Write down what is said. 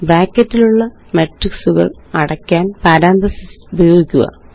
ബ്രാക്കറ്റിലുള്ള മാട്രിക്സുകള് അടയ്ക്കാന് പാരാന്തസിസ് ഉപയോഗിക്കുക